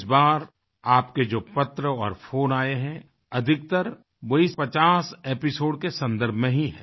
इस बार आपके जो पत्र और फ़ोन आये हैं अधिकतर वे इस 50 एपिसोड के सन्दर्भ में ही हैं